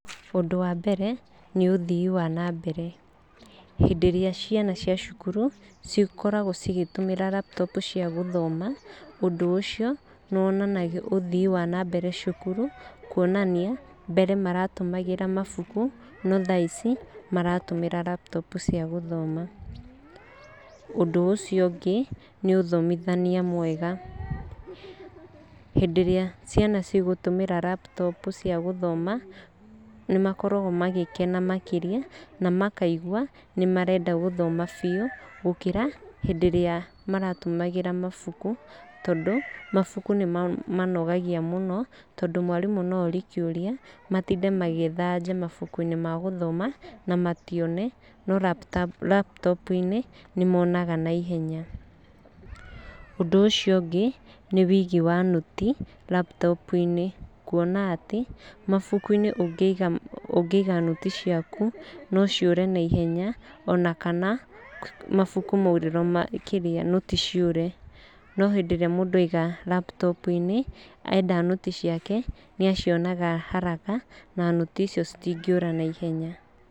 Ũndũ wa mbere, nĩ ũthii wa na mbere. Hĩndĩ ĩrĩa ciana cia cukuru cikoragwo cigĩtũmĩra laptop cia gũthoma, ũndũ ũcio nĩ wonanagia ũthii wa na mbere cukuru, konania, mbere maratũmagĩra mabuku, no tha ici maratũmĩra laptop cia gũthoma. Ũndũ ũcio ũngĩ, nĩ ũthomithania mwega. Hindĩ ĩrĩa ciana ci gũtũmĩra laptop cia gũthoma, nĩ makoragwo magĩkena makĩria, namakaigua nĩ marenda gũthoma biũ, gũkĩra hĩndĩ ĩrĩa marahuthagĩra mabuku, tondũ mabuku nĩ mamanogagia mũno, tondũ mwarimu no orie kĩũria, matinde magĩetha anja mabuku-inĩ ma gũthoma na matione, no laptop-inĩ, nĩ monaga na ihenya. Ũndũ ũcio ũngĩ nĩ wĩigi wa nũti laptop, kuona atĩ, mabuku-inĩ ũngĩ ũngĩiga nũti ciaku, no ciũre na ihenya, ona kana, mabuku maurĩrwo nũti ciũre. No hĩndĩ ĩrĩa ciagwo laptop-inĩ, enda nũti ciake, nĩ acionaga haraka , na nũti icio ci tingĩũra na ihenya.